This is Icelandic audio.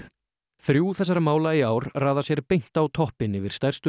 þrjú þessara mála í ár raða sér beint á toppinn yfir stærstu